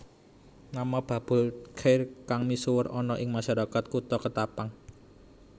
Nama Babul Chair kang misuwur ana ing masyarakat Kutha Ketapang